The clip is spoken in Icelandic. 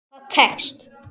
Það tekst.